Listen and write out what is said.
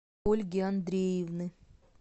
ольги андреевны